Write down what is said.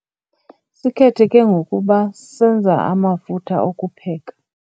Sikhetheke ngokuba senza amafutha okupheka.